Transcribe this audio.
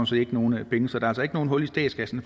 set ikke nogen penge så der er altså ikke noget hul i statskassen